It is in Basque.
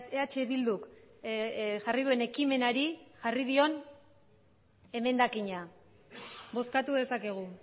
eh bilduk jarri duen ekimenari jarri dion emendakina bozkatu dezakegu